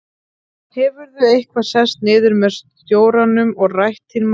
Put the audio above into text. Hefurðu eitthvað sest niður með stjóranum og rætt þín mál?